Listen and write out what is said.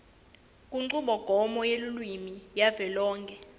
kunchubomgomo yelulwimi yavelonkhe